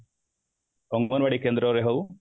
ଅଙ୍ଗନବାଡି କେନ୍ଦ୍ର ରେ ହଉ